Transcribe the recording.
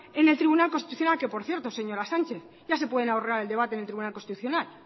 en el tribunal constitucional que por cierto señora sánchez ya se pueden ahorrar el debate en el tribunal constitucional